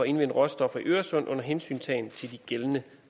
indvinde råstoffer i øresund under hensyntagen til de gældende